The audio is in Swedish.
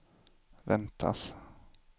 väntas